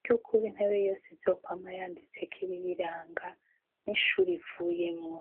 ryukuba intebe yose izokwama yanditse ko ibiyiranga n'ishuri ivuyemwo.